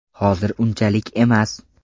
Hozir unchalik emas.